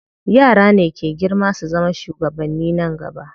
Yara ne ke girma su zama shugabanni nan gaba.